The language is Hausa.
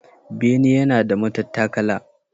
Bene yana da matattakala.